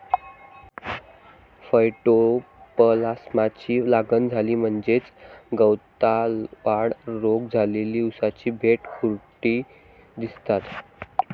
फयटोप्लास्माची लागण झाली म्हणजेच गवतालवाढ रोग झालेली उसाची बेटे खुरटी दिसतात.